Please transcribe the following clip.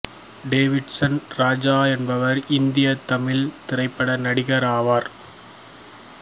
David Solomon Raja என்பவர் இந்திய தமிழ் திரைப்பட நடிகர் ஆவார்